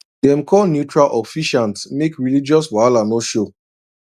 dem call neutral officiant make religious wahala no show